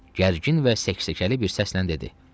Gərgin və səksəkəli bir səslə dedi: